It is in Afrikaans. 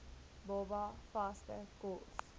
baba vaste kos